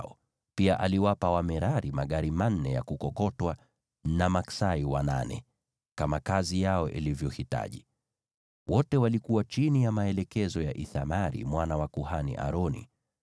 na pia aliwapa Wamerari magari manne ya kukokotwa na maksai wanane, kama kazi yao ilivyohitaji. Wote walikuwa chini ya maelekezo ya Ithamari mwana wa kuhani, Aroni.